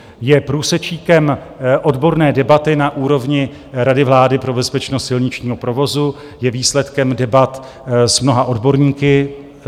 Je průsečíkem odborné debaty na úrovni Rady vlády pro bezpečnost silničního provozu, je výsledkem debat s mnoha odborníky.